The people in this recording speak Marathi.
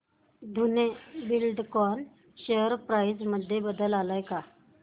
धेनु बिल्डकॉन शेअर प्राइस मध्ये बदल आलाय का